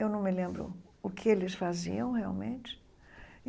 Eu não me lembro o que eles faziam realmente.